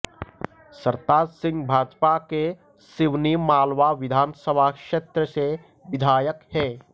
सरताज सिंह भाजपा के सिवनी मालवा विधानसभा क्षेत्र से विधायक हैं